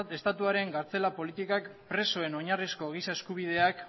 estatuaren gartzela politikak presoen oinarrizko giza eskubideak